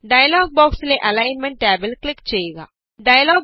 dialogue ബോക്സിലെ alignment ടാബില് click ചെഊക